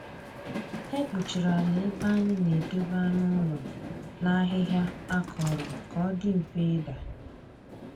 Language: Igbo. E kpuchiri ala ebe anyị na-edobe anụ ụlọ na ahịhịa akọrọ ka ọ dị mfe ịda.